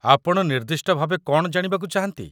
ଆପଣ ନିର୍ଦ୍ଦିଷ୍ଟ ଭାବେ କ'ଣ ଜାଣିବାକୁ ଚାହାନ୍ତି?